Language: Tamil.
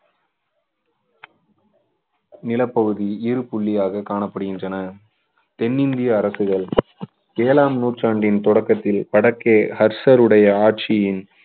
நிலப்பகுதி இரு புள்ளியாக காணப்படுகின்றன தென்னிந்திய அரசுகள் ஏழாம் நூற்றாண்டின் தொடக்கத்தில் வடக்கே ஹர்ஷருடைய ஆட்சியின்